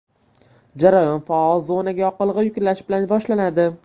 Jarayon faol zonaga yoqilg‘i yuklash bilan boshlanadi.